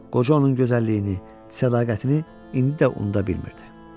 Qoca onun gözəlliyini, sədaqətini indi də unuda bilmirdi.